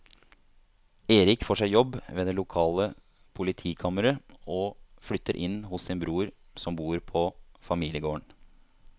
Erik får seg jobb ved det lokale politikammeret og flytter inn hos sin bror som bor på familiegården.